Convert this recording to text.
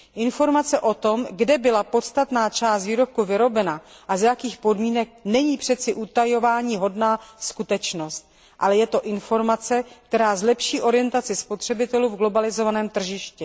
Informace o tom, kde byla podstatná část výrobku vyrobena a za jakých podmínek, není přeci utajováníhodná skutečnost, ale je to informace, která zlepší orientaci spotřebitelů v globalizovaném tržišti.